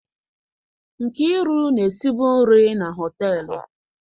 Nkiru na-esi bụ nri na họtelụ.